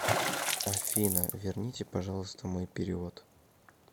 афина верните пожалуйста мой перевод